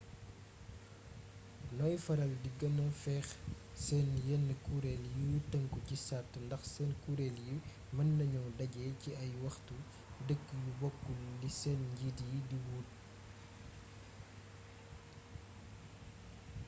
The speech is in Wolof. noy faral di gëna fex sen yenen kureel yi tënku ci sart ndax seen kureel yi mën nañoo dajé ci ay waxtu dëkk yu bokul li seen njiit yi di wuute